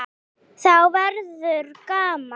Þá verður gaman.